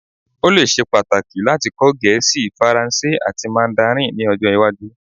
O le ṣe pataki lati kọ Gẹẹsi, Faranse ati Mandarin ni ọjọ iwaju